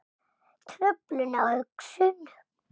Truflun á hugsun